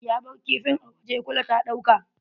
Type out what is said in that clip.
Ya bar kifin a waje, kula ta ɗauka.